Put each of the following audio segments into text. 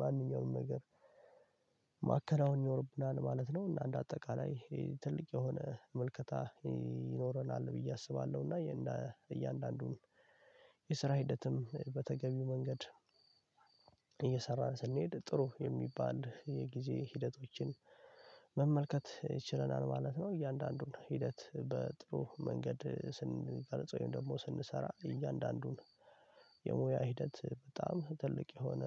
ማንኛውንም ነገር ማከናወን ይኖርብናል ማለት ነው። እና እንደ አጠቃላይ ትልቅ የሆነ መልከታ ይኖረናል ብዬ አስባለሁ እና እያንዳንዱን የስራ ሂደትም በተገቢው መንገድ እየሰራን ስንሄድ ጥሩ የሚባል የጊዜ ሂደቶችን መመልከት ችለናል ማለት ነው። እያንዳንዱን ሂደት በጥሩ መንገድ ስንገልጸው ወይም ደግሞ ስንሰራ እያንዳንዱን የሙያ ሂደት በጣም ትልቅ የሆነ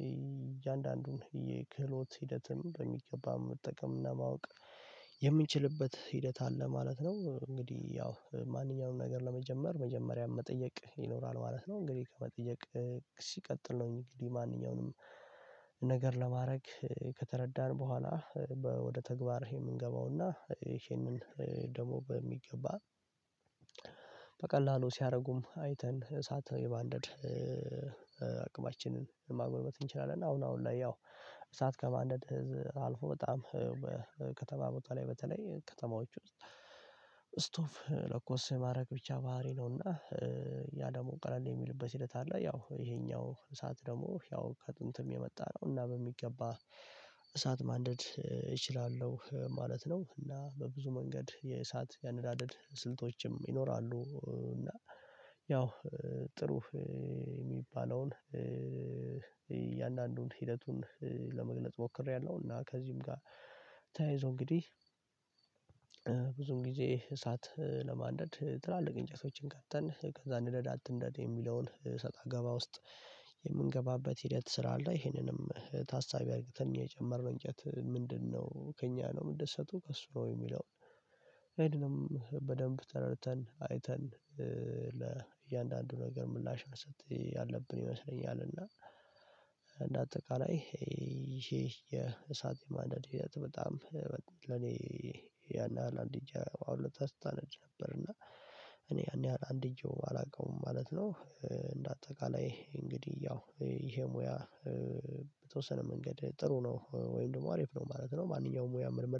የእያንዳንዱን የ ክህሎት ሂደትን በሚገባ መጠቀም እና ማወቅ የምንችልበት ሂደት አለ ማለት ነው። እንግዲህ ያው ማንኛውንም ነገር ለመጀመር መጀመሪያ መጠየቅ ይኖራል ማለት ነው። እንግዲህ ከመጠየቅ ሲቀጥል ነው እንግዲህ ማንኛውንም ነገር ለማድረግ ከተረዳን በኋላ ወደ ተግባር የምንገባውና ይሄንን ደግሞ በሚገባ በቀላሉ ሲያረጉም አይተን እሳት የማንደድ አቅማችንን ማጎልበት እንችላለን። አሁን አሁን ላይ ያው እሳት ከማንደድ አልፎ በጣም ከተማ ቦታ ላይ በተለይ ከተማዎች ውስጥ ስቶቭ ለኮስ ማድረግ ብቻ ባህሪ ነውና ያ ደግሞ ቀለል የሚልበት ሂደት አለ። ያው ይሄኛው እሳት ደግሞ ያው ከጥንትም የመጣ ነው እና በሚገባ እሳት ማንደድ እችላለሁ ማለት ነው። እና በብዙ መንገድ የእሳት ያነዳደድ ስልቶችም ይኖራሉ። እና ያው ጥሩ የሚባለውን እያንዳንዱን ሂደቱን ለመግለጽ ሞክሬያለሁ እና ከዚህም ጋር ተያይዞ እንግዲህ ብዙም ጊዜ እሳት ለማንደድ ትላልቅ እንጨቶችን ከተን ከዛ ንደዳ አትንደድ የሚለውን ሰጣ ገባ ውስጥ የምንገባበት ሂደት ስላለ ይሄንንም ታሳቢ አርግተን የጀመር ነው። እንጨት ምንድነው ከእኛ ነው የምደሰቱ ከእሱ ነው የሚለውን ያንንም በደንብ ተረድተን አይተን ለእያንዳንዱ ነገር ምላሽ መስጠት ያለብን ይመስለኛል። እና እንደ አጠቃላይ ይሄ የእሳት የማንዳድ ሂደት በጣም ለኔ ያን ያህል አንድ እንጃ አሁለታ ስታነድ ነበር እና እኔ ያን ያህል አንድእጄው አላውቀውም ማለት ነው። እንደ አጠቃላይ እንግዲህ ያው ይሄ ሙያ በተወሰነ መንገድ ጥሩ ነው ወይም ደግሞ አሪፍ ነው ማለት ነው። ማንኛውም ሙያ ምልመ